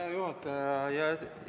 Hea juhataja!